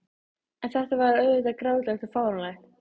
En þetta var auðvitað grátlegt og fáránlegt.